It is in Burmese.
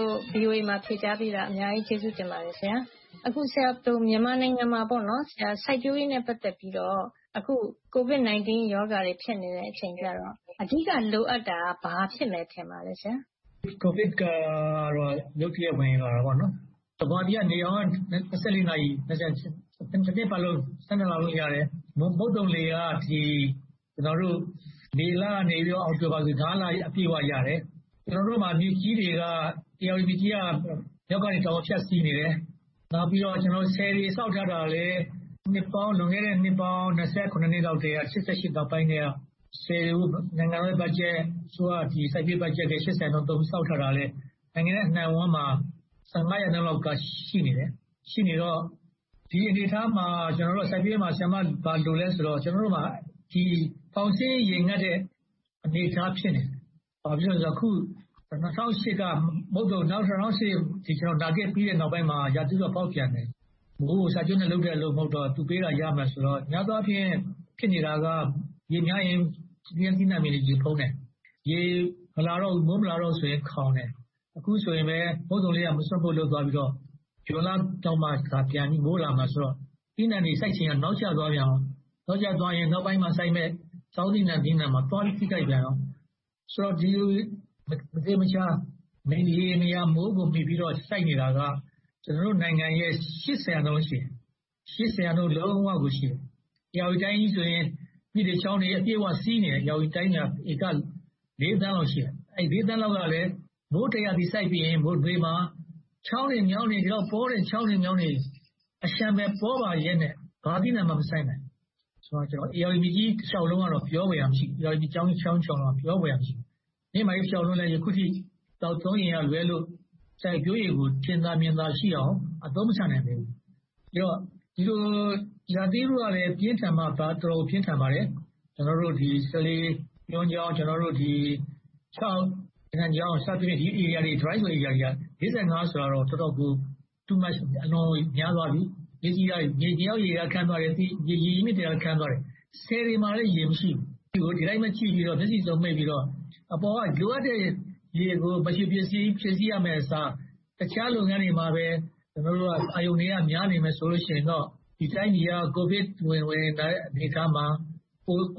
ို ဖြေကြားပေးတာကို အများကြီးကျေးဇူးတင်ပါတယ်။ အခု မြန်မာနိုင်ငံမှာ စိုက်ပျိုးရေးနဲ့ ပတ်သက်ပြီး တော့ အခု ကိုဗစ်-၁၉ ရောဂါတွေ ဖြစ်နေတဲ့အချိန်ကြတော့ အဓိကလိုအပ်နေတာ ဘာဖြစ်မယ် ထင်ပါသလဲ ဆရာ။ ကိုဗစ်ကတော့ ရုတ်တရက် ဝင်လာတာပေါ့။ ဗမာပြည်က နေရောင်က နာရီ၊ တနှစ်ပတ်လုံး၊ လလုံးရတယ်။ မုတ်သုန်လေက မေလကနေ အောက်တိုဘာအထိ လ အပြည့်ရတယ်။ ကျနော်တို့မှာ မြစ်ကြီးတွေက ဧရာဝတီမြစ်ကြီးတွေက မြောက်ကနေ တောင်ကို ဖြတ်စီးနေတယ်။ နေုာက်ပြီးတော့ ဆည်တွေဆောက်ထားတာလဲ၊ လွန်ခဲ့တဲ့ နှစ်ပေါင်း နှစ်လောက်ကတည်းက ၁၉၈၈ နောက်ပိုင်းကတည်းက ဆည်တွေကို နိုင်ငံတော်ဘတ်ဂျက်၊ အစိုးရစိုက်ပျိုးရေးဘတ်ဂျက် ရာခိုင်နှုန်းလောက်နဲ့ နိုင်ငံတဝှမ်းမှာ ရာခိုင်နှုန်းလောက်က ရှိနေတယ်။ ရှိနေတော့ ဒီအနေအထားမှာ ကျနော်တို့ စိုက်ပျိုးရေးမှာ ဘာလိုလဲဆိုတော့ ကျနော်တို့က ဖောင်းစီးရင် ရေငတ်တဲ့ အနေအထား ဖြစ်နေတယ်။ ဘာဖြစ်လဲဆိုတော့ အခု ၂၀၀၈ နာဂစ်ပြီးတဲ့ နောက်ပိုင်းမှာ ရာသီဥတုက ဖောက်ပြန်တယ်။ မိုးကို စာချုပ်နဲ့လုပ်ထားတော့ မဟုတ်တော့၊ သူပေးတာ ရမယ်ဆိုတာ ဖြစ်နေတယ်။ များသောအားဖြင့် ဖြစ်နေတာက ရေများရင် စိုက်ပျိုးသီးနံှပင်တွေ ရေဖုံးတယ်။ ရေမလာ၊ မိုးမလာတော့ဘူးဆိုရင် မိုးခေါင်းတယ်။ အခုဆိုရင်ပဲ မုတ်သုန်လေက မစွတ်မပို့ လုပ်သွားပြီးတော့ ဇွန်လလောက်မှ မိုးပြန်လာမယ်ဆိုတော့ သီးနံှတွေ စိုက်ပျိုးချိန်က နောက်ကျသွားပြန်တယ်။ နောက်ကျသွားတော့ နောက်ပိုင်းမှာစိုက်မယ့် ဆောင်းသီးနံှတွေမှာ သွားပြီးထိခိုက်ပြန်တယ်။ ဆိုတော့ ဒီလိုမျိုး မသေမချာ၊ မရေမရာ မိုးကိုမှီပြီးတော့ စိုက်နေတာက ကျနော်တို့နိုင်ငံရဲ့ ရာခိုင်နှုန်း ရှိတယ်။ ရာခိုင်နှုန်း လုံးဝကို ရှိတယ်။ ဧရာဝတီတိုင်းကြီးဆိုရင် မြစ်တွေ၊ ချောင်းတွေ အပြည့်အဝ စီးနေတယ်။ ဧရာဝတီတိုင်းမှာ ဧက သန်းလောက် ရှိတယ်။ ဒီ သန်းလောက်က မိုးတစ်ရာသီ စိုက်ပြီးရင်း နွေမှာ ချောင်းတွေ၊ မြောင်းတွေ ဒီလောက်အလျှံပယ် ပေါပါရဲ့နဲ့ ဘာသီးနံှမှ မစိုက်နိုင်ဘူး။ ဧရာဝတီမြစ်ကြီးတလျှောက်ကတော့ ပြောဖွယ်ရာ မရှိဘူး။ မြစ်ကြောင်းတလျှောက်လုံးက ပြောဖွယ်ရာ မရှိဘူး။ မြစ်မကြီးတလျှောက်မှာလဲ သောက်သုံးရေကလွဲလို့ စိုက်ပျိုးရေကို ထင်သာမြင်သာရှိအောင် အသုံးမချနိုင်သေးဘူး။ ဒီလိုရာသီဥတုကလဲ တော်တော်လေး ပြင်းထန်ပါတယ်။ ကျနော်တို့ စလေး ကျွန်းချောင်း၊ ချောက်၊ ရေနံချောင်း စသည်ဖြင့် Dry Area တွေက ဆိုတာတော့ အတော်များသွားပြီ။ မြေအောက်ရေက ခမ်းသွားတယ်။ မြစ်တွေလည်း ခမ်းသွားတယ်။ ဆည်တွေမှာလဲ ရေမရှိဘူး။ ဒီအတိုင်းပဲ မျက်စိစုံမှိတ်ပြီးတော့ အပေါ်က လိုအပ်တဲ့ရေတွေကို ဖြည့်ဆည်းရမယ့်အစား အခြားလုပ်ငန်းတွေမှာပဲ ကျနော်တို့က အာရုံတွေများနေမယ်ဆိုရင်တော့ ဒီတိုင်းပြည်က ကိုဗစ်ဝင်လာတဲ့ အနေအထားမှာ